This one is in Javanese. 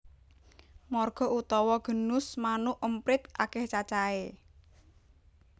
Marga utawa genus manuk emprit akèh cacahé